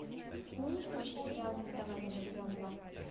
можешь включить сериал не сдавайся сезон два